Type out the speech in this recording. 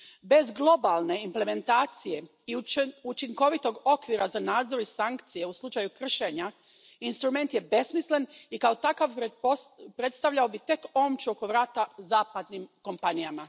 Bez globalne implementacije i učinkovitog okvira za nadzor i sankcije u slučaju kršenja instrument je besmislen i kao takav predstavljao bi tek omču oko vrata zapadnim kompanijama.